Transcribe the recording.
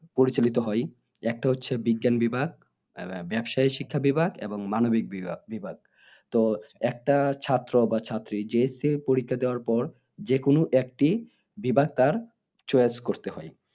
পরিচালিত হয় একটা হচ্ছে বিজ্ঞান বিভাগ আহ ব্যবসাইক শিক্ষা বিভাগ এবং মানবিক বিভাগ তো একটা ছাত্র বা ছাত্রী JSC পরীক্ষা দেওয়ার পর যেকোনো একটি বিভাগ তার choice করতে হয়